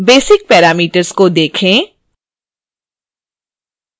basic parameters को देखें